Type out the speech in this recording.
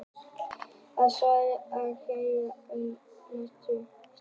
Svarið er því það, að jaði geti ekki myndast á Íslandi.